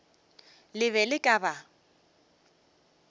le be le ka ba